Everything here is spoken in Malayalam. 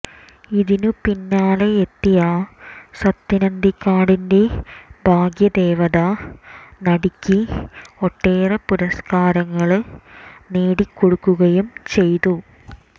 ഇതിന് പിന്നാലെയെത്തിയ സത്യന് അന്തിക്കാടിന്റെ ഭാഗ്യദേവത നടിയ്ക്ക് ഒട്ടേറെ പുരസ്ക്കാരങ്ങള് നേടിക്കൊടുക്കുകയും ചെയ്തു